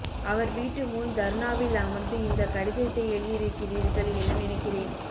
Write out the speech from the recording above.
அவர் வீட்டுமுன் தர்ணாவில் அமர்ந்து இந்தக் கடிதத்தை எழுதியிருக்கிறீர்கள் என நினைக்கிறேன்